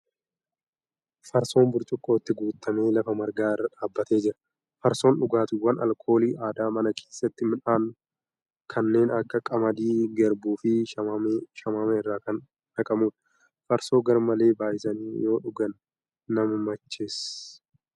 Farsoon burcuqqootti guutamee lafa marga irra dhaabbatee jira. Farsoon dhugaatiiwwan alkoolii aadaa mana keesstti midhaan kanneen akka qamadii , garbuu fi shamaamee irraa kan naqamuudha. Farsoo garmalee baay'isanii yoo dhugan nama macheecha.